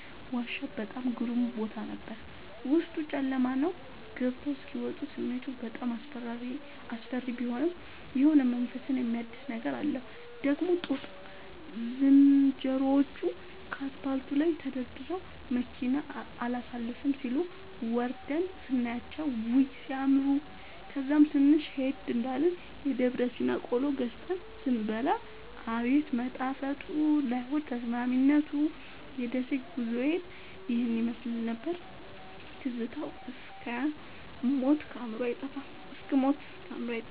ዋሻ በጣም ግሩም ቦታ ነበር፤ ዉስጡ ጨለማ ነዉ ገብተዉ እስኪ ወጡ ስሜቱ በጣም አስፈሪ ቢሆንም የሆነ መንፈስን የሚያድስ ነገር አለዉ። ደግሞ ጦጣ ዝንሮዎቹ ከአስፓልቱ ላይ ተደርድረዉ መኪና አላሣልፍም ሢሉ፤ ወርደን ስናያቸዉ ዉይ! ሢያምሩ። ከዛም ትንሽ ሄድ እንዳልን የደብረሲና ቆሎ ገዝተን ስንበላ አቤት መጣፈጡ ለሆድ ተስማሚነቱ። የደሴ ጉዞዬ ይህን ይመሥል ነበር። ትዝታዉ እስክ ሞት ከአዕምሮየ አይጠፋም።